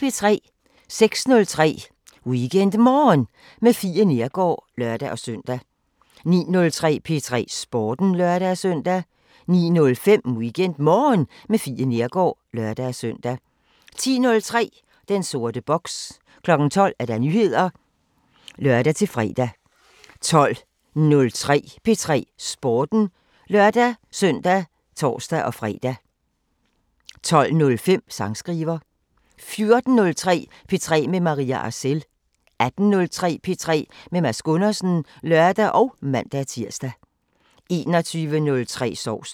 06:03: WeekendMorgen med Fie Neergaard (lør-søn) 09:03: P3 Sporten (lør-søn) 09:05: WeekendMorgen med Fie Neergaard (lør-søn) 10:03: Den sorte boks 12:00: Nyheder (lør-fre) 12:03: P3 Sporten (lør-søn og tor-fre) 12:05: Sangskriver 14:03: P3 med Maria Arcel 18:03: P3 med Mads Gundersen (lør og man-tir) 21:03: Sovsen